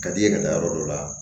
Ka d'i ye ka taa yɔrɔ dɔ la